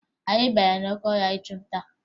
Anyị bara n'oke ọhịa ịchụ nta